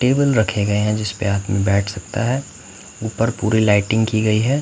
Table रखे गए हैं जिस पे आदमी बैठ सकता है ऊपर पूरी लाइटिंग की गई है।